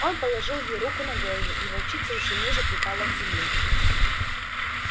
он положил ей руку на голову и волчица ещё ниже припала к земле